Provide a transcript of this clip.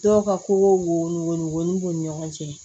Dɔw ka ko wolon b'u ni ɲɔgɔn cɛ